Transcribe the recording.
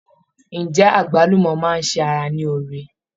Ǹjẹ́ Àgbálùmọ́ máa ṣe ara ní oore?